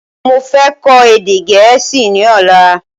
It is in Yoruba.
Mo fẹ́ kọ́ èdè gẹ̀ẹ́sì ni ọ̀la